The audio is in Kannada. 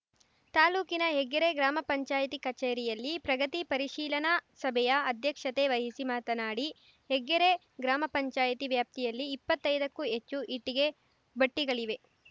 ತಾಲೂಕಿನ ಹೆಗ್ಗೆರೆ ಗ್ರಾಮ ಪಂಚಾಯತಿ ಕಚೇರಿಯಲ್ಲಿ ಪ್ರಗತಿ ಪರೀಶಿಲನಾ ಸಭೆಯ ಅಧ್ಯಕ್ಷತೆ ವಹಿಸಿ ಮಾತನಾಡಿ ಹೆಗ್ಗೆರೆ ಗ್ರಾಮ ಪಂಚಾಯತಿ ವ್ಯಾಪ್ತಿಯಲ್ಲಿ ಇಪ್ಪತ್ತೈದಕ್ಕೂ ಹೆಚ್ಚು ಇಟ್ಟಿಗೆ ಭಟ್ಟಿಗಳಿವೆ